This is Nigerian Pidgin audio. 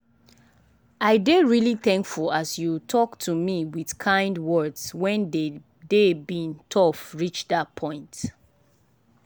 i dey really thankful as you talk to me with kind words when dey day bin tough reach that point.